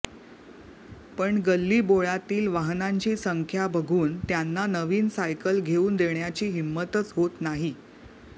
पण गल्लीबोळातील वाहनांची संख्या बघून त्यांना नवीन सायकल घेऊन देण्याची हिंमतच होत नाही